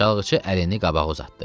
Çalğıçı əlini qabağa uzatdı.